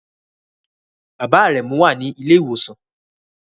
Bàbá Aremu wà ní ilé ìwòsàn